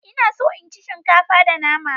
Ina so in ci shinkafa da nama.